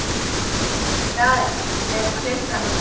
Það er klukkan okkar!